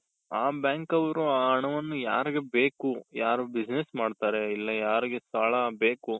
ಆ bank ಅವ್ರು ಆ ಹಣವನ್ನು ಯಾರಿಗೆ ಬೇಕು ಯಾರು business ಮಾಡ್ತಾರೆ ಇಲ್ಲ ಯಾರಿಗೆ ಸಾಲ ಬೇಕು